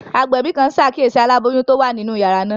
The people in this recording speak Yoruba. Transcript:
Agbẹbi kan n ṣakiyesi alaboyun ti o wa ninu yara naa.